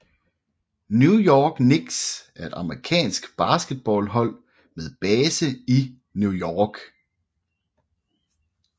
New York Knicks er et amerikansk basketballhold med base i New York